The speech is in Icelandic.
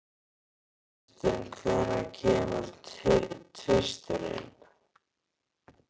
Kristin, hvenær kemur tvisturinn?